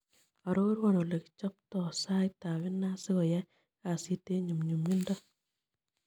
Arorwon olekichopto saitap inaat sigoyai kasit eng' nyumnyumindo